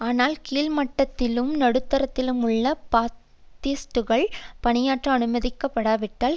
ஆனால் கீழ் மட்டத்திலும் நடுத்தரத்திலும் உள்ள பாத்திஸ்ட்டுகள் பணியாற்ற அனுமதிக்கப்படாவிட்டால்